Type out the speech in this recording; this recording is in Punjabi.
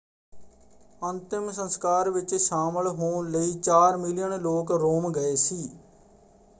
ਅੰਤਿਮ ਸੰਸਕਾਰ ਵਿੱਚ ਸ਼ਾਮਿਲ ਹੋਣ ਲਈ ਚਾਰ ਮਿਲੀਅਨ ਲੋਕ ਰੋਮ ਗਏ ਸੀ।